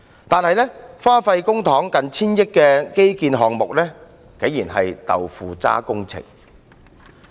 然而，花費近千億元公帑的基建項目，竟然是"豆腐渣"工程。